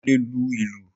Mo le lu ìlù.